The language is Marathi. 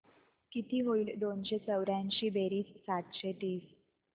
किती होईल दोनशे चौर्याऐंशी बेरीज सातशे तीस